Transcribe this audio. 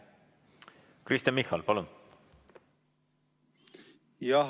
Kristen Michal, palun!